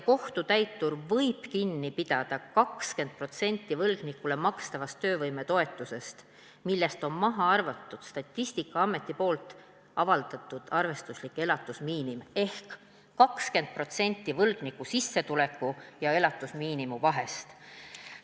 Kohtutäitur võib kinni pidada 20% võlgnikule makstavast töövõimetoetusest, millest on maha arvatud Statistikaameti avaldatud arvestuslik elatusmiinimum ehk 20% võlgniku sissetuleku ja elatusmiinimumi vahest.